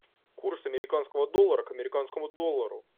курс американского доллара к американскому доллару